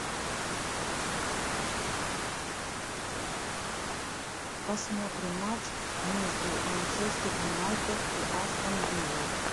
посмотрим матч между манчестер юнайтед и астон виллой